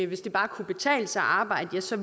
hvis det bare kan betale sig at arbejde så